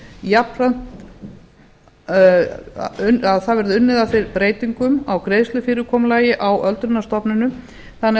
jafnframt að það verði unnið að þeim breytingum á greiðslufyrirkomulagi á öldrunarstofnunum þannig að